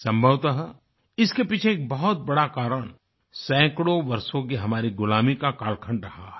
संभवत इसके पीछे एक बहुत बड़ा कारण सैकड़ों वर्षों की हमारी गुलामी का कालखंड रहा है